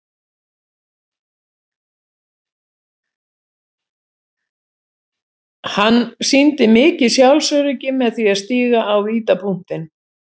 Hann sýndi mikið sjálfsöryggi með því að stíga á vítapunktinn.